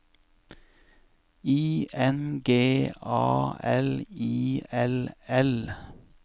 I N G A L I L L